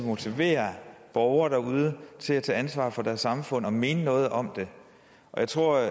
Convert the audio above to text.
at motivere borgere derude til at tage ansvar for deres samfund og mene noget om det jeg tror